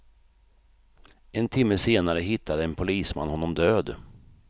En timme senare hittade en polisman honom död.